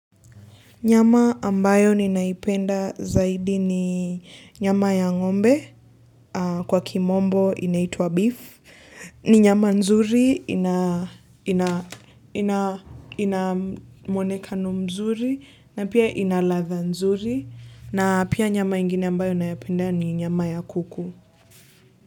Nyama ambayo ninaipenda zaidi ni nyama ya ngombe, kwa kimombo inaitwa beef, ni nyama nzuri, ina mwonekano mzuri, na pia ina ladha nzuri, na pia nyama ingine ambayo naipenda ni nyama ya kuku.